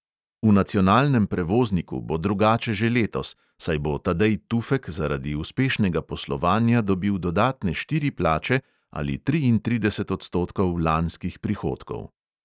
V nacionalnem prevozniku bo drugače že letos, saj bo tadej tufek zaradi uspešnega poslovanja dobil dodatne štiri plače ali triintrideset odstotkov lanskih prihodkov.